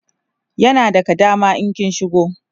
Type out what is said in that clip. yana daga dama in kin shigo